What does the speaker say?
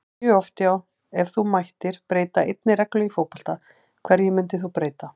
mjög oft já Ef þú mættir breyta einni reglu í fótbolta, hverju myndir þú breyta?